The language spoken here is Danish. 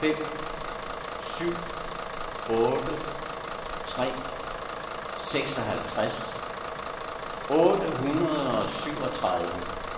fem syv otte tre seksoghalvtreds otte hundrede og syvogtredive